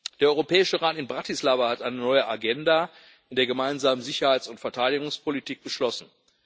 Der Europäische Rat in Bratislava hat eine neue Agenda in der gemeinsamen Sicherheits und Verteidigungspolitik beschlossen.